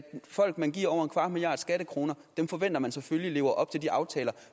folk man giver over en kvart milliard skattekroner forventer man selvfølgelig lever op til de aftaler